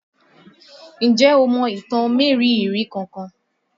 Ǹjẹ́ o mọ ìtàn mériìírí kankan?